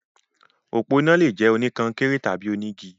Òpó iná lè jẹ́ oníkọnkéré tàbí onígi.